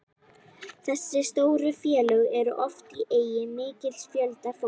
Þessi stóru félög eru oft í eigu mikils fjölda fólks.